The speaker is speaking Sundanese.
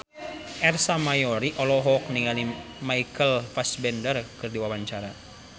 Ersa Mayori olohok ningali Michael Fassbender keur diwawancara